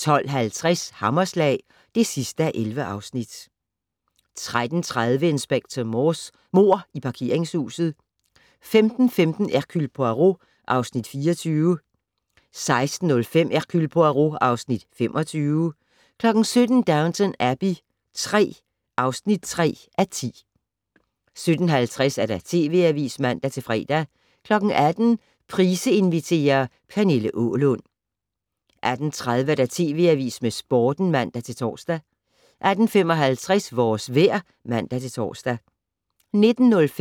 12:50: Hammerslag (11:11) 13:30: Inspector Morse: Mord i parkeringshuset 15:15: Hercule Poirot (Afs. 24) 16:05: Hercule Poirot (Afs. 25) 17:00: Downton Abbey III (3:10) 17:50: TV Avisen (man-fre) 18:00: Price inviterer - Pernille Aalund 18:30: TV Avisen med Sporten (man-tor) 18:55: Vores vejr (man-tor)